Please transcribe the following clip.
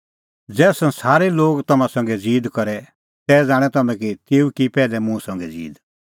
ज़ै संसारे लोग तम्हां संघै ज़ीद करे तै ज़ाणैं तम्हैं कि तेऊ की पैहलै मुंह संघै ज़ीद